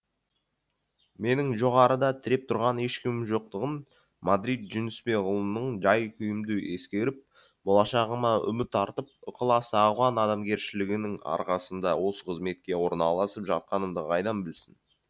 менің жоғарыда тіреп тұрған ешкімім жоқтығын мадрид жүнісбекұлының жай күйімді ескеріп болашағыма үміт артып ықыласы ауған адамгершілігінің арқасында осы қызметке орналасып жатқанымды қайдан білсін